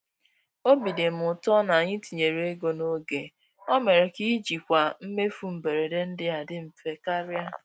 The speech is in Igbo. Obi dị m ụtọ na anyị tinyere ego n'oge—o mere ka ijikwa mmefu mberede ndị a dị mfe karịa.